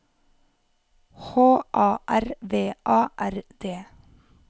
H A R V A R D